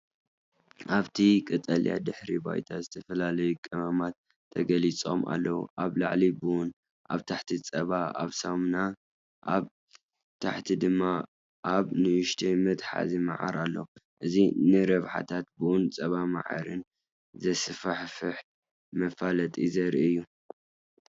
ኣብቲ ቀጠልያ ድሕረ ባይታ ዝተፈላለዩ ቀመማት ተገሊጾም ኣለዉ። ኣብ ላዕሊ ቡን ፡ ኣብ ታሕቲ ጸባ ኣብ ሳሙና ፡ ኣብ ታሕቲ ድማ ኣብ ንእሽቶ መትሓዚ መዓር ኣሎ። እዚ ንረብሓታት ቡን ጸባን መዓርን ዘስፋሕፍሕ መፈላጢ ዘርኢ እዩ።